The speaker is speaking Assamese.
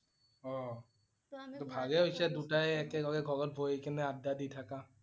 অ' ভালে হৈছে দুটাই একেলগে লগত বহি কেনে আড্ডা দি থাকা